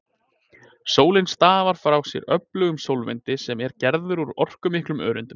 Sólin stafar frá sér öflugum sólvindi sem er gerður úr orkumiklum öreindum.